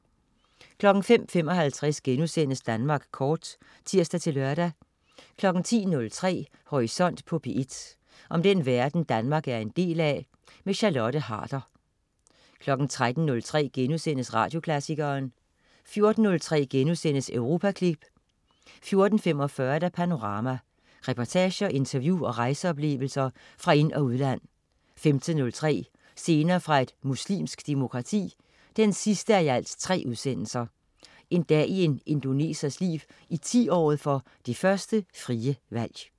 05.55 Danmark kort* (tirs-lør) 10.03 Horisont på P1. Om den verden, Danmark er en del af. Charlotte Harder 13.03 Radioklassikeren* 14.03 Europaklip* 14.45 Panorama. Reportager, interview og rejseoplevelser fra ind- og udland 15.03 Scener fra et muslimsk demokrati 3:3. En dag i en indonesers liv i 10-året for det første frie valg